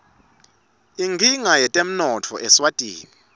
inkinga yetemnotfo eswatini